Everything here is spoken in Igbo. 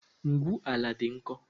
Ngwu ala dị nkọ